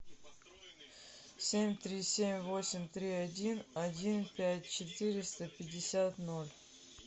семь три семь восемь три один один пять четыреста пятьдесят ноль